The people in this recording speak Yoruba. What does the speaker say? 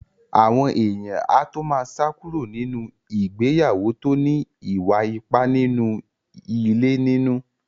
Àwọn èèyàn á tó má sá kúrò nínú ìgbéyàwó tó ní ìwà ipá nínú ilé nínú.